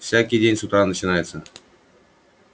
всякий день с утра начинается